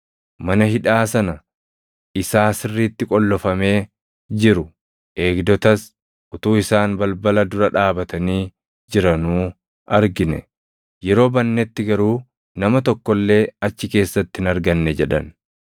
“Mana hidhaa sana isaa sirriitti qollofamee jiru, eegdotas, utuu isaan balbala dura dhaabatanii jiranuu argine; yeroo bannetti garuu nama tokko illee achi keessatti hin arganne” jedhan.